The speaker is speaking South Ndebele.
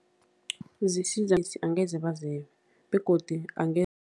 Angeze bazebe begodu